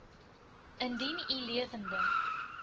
indien u lewende